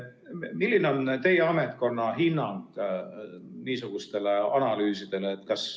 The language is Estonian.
Milline on teie ametkonna hinnang niisugustele analüüsidele?